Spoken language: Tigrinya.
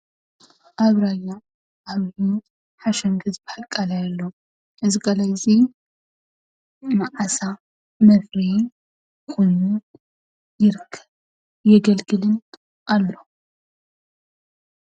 ኣብ ራያ ሓሸንገ ዝብሃል ቃላይ ኣሎ፡፡ እዚ ቃላይ እዚ ንዓሳ መፍረይ ኮይኑ ይርከብን የገልግልን ኣሎ፡፡